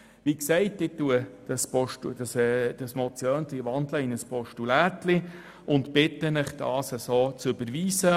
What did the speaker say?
Wie gesagt wandle ich dieses «Motiöndli» in ein «Postulätli» um und bitte Sie, dieses so zu überweisen.